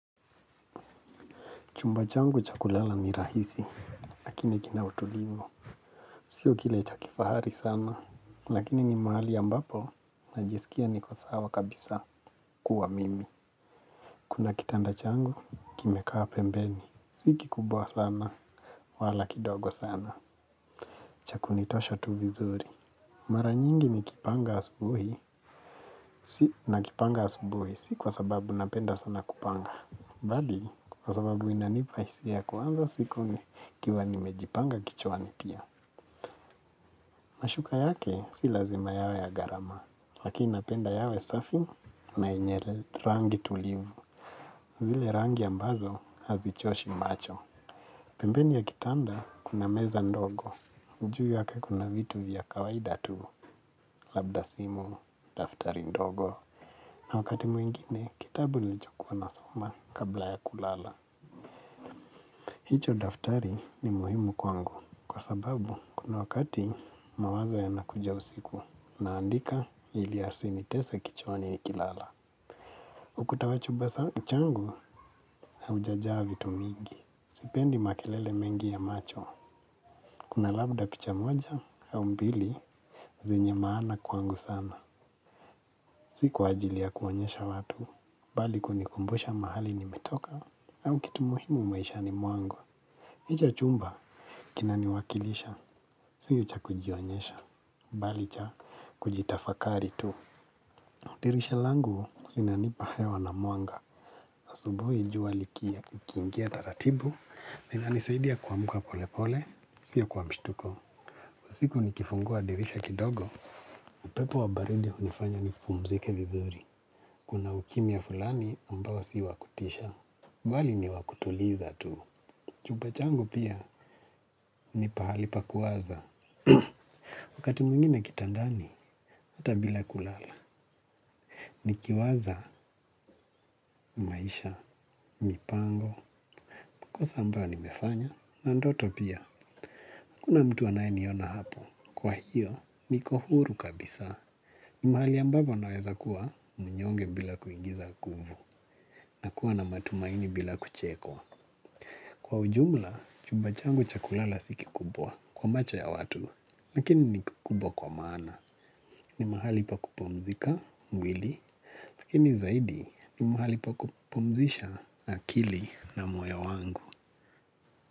Chumba changu cha kulala ni rahisi, lakini kina utulivu. Sio kile cha kifahari sana, lakini ni mahali ambapo najisikia niko sawa kabisa kuwa mimi. Kuna kitanda changu, kimekaa pembeni. Si kikubwa sana, wala kidogo sana. Cha kunitosha tu vizuri. Mara nyingi nikipanga asubuhi. Si nakipanga asubuhi, si kwa sababu napenda sana kupanga. Baadhi, kwa sababu inanipa isia kuanza siku nikiwa nimejipanga kichwani pia. Mashuka yake si lazima yawe ya gharama, lakini napenda yawe safi na yenye rangi tulivu. Zile rangi ambazo hazichoshi macho. Pembeni ya kitanda kuna meza ndogo. Juu yake kuna vitu vya kawaida tu. Labda simu, daftari ndogo. Na wakati mwingine, kitabu nilichokuwa nasoma kabla ya kulala. Hicho daftari ni muhimu kwangu kwa sababu kuna wakati mawazo yanakuja usiku naandika ili yasinitese kichwani nikilala. Ukuta wa chumba changu haujajaa vitu mingi. Sipendi makelele mengi ya macho. Kuna labda picha moja au mbili zenye maana kwangu sana. Si kwa ajili ya kuonyesha watu bali kunikumbusha mahali nimetoka au kitu muhimu maishani mwangu. Hija chumba, kinaniwakilisha, si cha kujionyesha, bali cha kujitafakari tu. Dirisha langu, linanipa hewa na muanga. Asubui jua liki, kiingia taratibu, linanisaidia kuamuka pole pole, siyo kuamstuko. Siku nikifungua dirisha kidogo, upepo wa baridi unifanya nipumzike vizuri. Kuna ukimya fulani, ambao si wa kutisha. Bali ni wakutuliza tu. Chumba changu pia, ni pahali pa kuwaza. Wakati mwingine kitandani, hata bila kulala. Nikiwaza, maisha, mipango, makosa ambayo nimefanya. Na ndoto pia, hakuna mtu anayeniona hapo. Kwa hiyo, niko huru kabisa. Mahali ambapo naweza kuwa, mnyonge bila kuingiza nguvu. Na kuwa na matumaini bila kuchekwa. Kwa ujumla, chumba changu cha kulala si kikubwa. Kwa macho ya watu. Lakini ni kubwa kwa maana. Ni mahali pa kupumzika, mwili. Lakini zaidi ni mahali pa kupumzisha akili na moyo wangu.